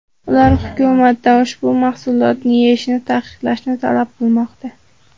Ular hukumatdan ushbu mahsulotni yeyishni taqiqlashni talab qilmoqda.